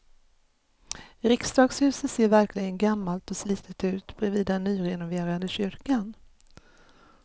Riksdagshuset ser verkligen gammalt och slitet ut bredvid den nyrenoverade kyrkan.